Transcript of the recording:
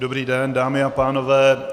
Dobrý den, dámy a pánové.